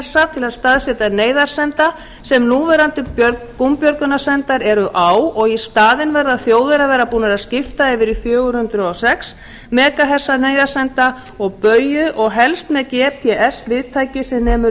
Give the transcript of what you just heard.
að staðsetja neyðarsenda sem núverandi gúmbjörgunarsendar eru á og í staðinn verða þjóðir að vera búnar að skipta yfir í fjögur hundruð og sex megahertsa neyðarsenda og bauju og helst með gps viðtæki sem nemur